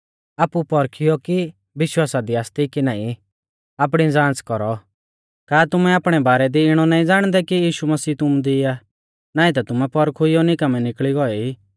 आपु पौरखियौ कि विश्वासा दी आसती कि नाईं आपणी ज़ांच़ कौरौ का तुमैं आपणै बारै दी इणौ नाईं ज़ाणदै कि यीशु मसीह तुमु दी आ नाईं ता तुमैं पौरखुइयौ निकामै निकल़ी गोऐ ई